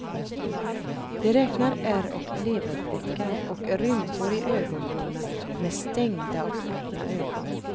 De räknade ärr och leverfläckar, och rynkor i ögonvråna med stängda och öppna ögon.